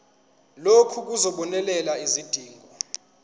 lokhu kuzobonelela izidingo